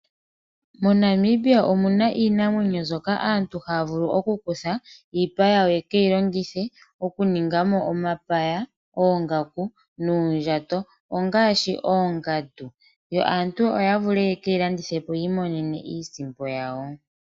MoNamibia omuna iinamwenyo mbyoka aantu haya vulu okuku tha iipa yawo yekeyilongithe okuninga mo omapaya, oongaku nuundjato. Ongaashi oongandu, yo aantu yekeyìandithepo yiimonene iisimpo yawo.